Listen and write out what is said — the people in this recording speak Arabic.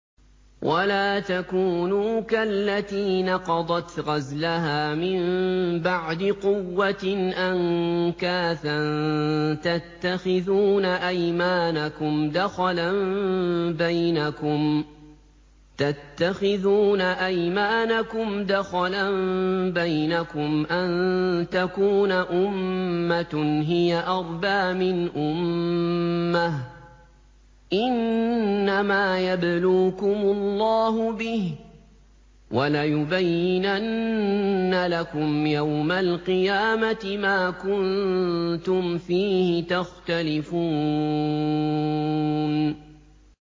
وَلَا تَكُونُوا كَالَّتِي نَقَضَتْ غَزْلَهَا مِن بَعْدِ قُوَّةٍ أَنكَاثًا تَتَّخِذُونَ أَيْمَانَكُمْ دَخَلًا بَيْنَكُمْ أَن تَكُونَ أُمَّةٌ هِيَ أَرْبَىٰ مِنْ أُمَّةٍ ۚ إِنَّمَا يَبْلُوكُمُ اللَّهُ بِهِ ۚ وَلَيُبَيِّنَنَّ لَكُمْ يَوْمَ الْقِيَامَةِ مَا كُنتُمْ فِيهِ تَخْتَلِفُونَ